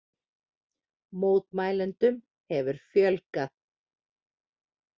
Mótmælendum hefur fjölgað